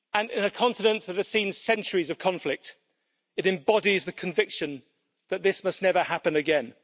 In a continent that has seen centuries of conflict, it embodies the conviction that this must never happen again.